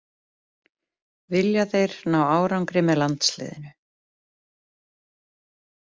Vilja þeir ná árangri með landsliðinu